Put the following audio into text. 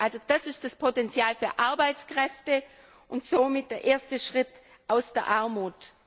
Dort liegt das Potenzial für Arbeitskräfte und somit der erste Schritt aus der Armut.